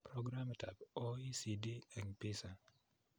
Programitab OECD eng PISA